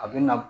A bɛ na